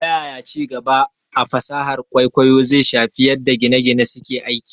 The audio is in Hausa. Ta yaya ci gaba a fasahar kwaikwayo zai shafi yadda gine - gine suke aiki?